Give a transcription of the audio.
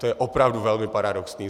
To je opravdu velmi paradoxní.